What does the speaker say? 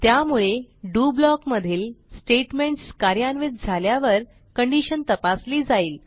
त्यामुळे DO block मधील statements कार्यान्वित झाल्यावर कंडिशन तपासली जाईल